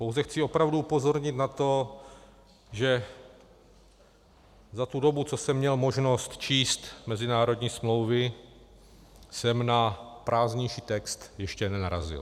Pouze chci opravdu upozornit na to, že za tu dobu, co jsem měl možnost číst mezinárodní smlouvy, jsem na prázdnější text ještě nenarazil.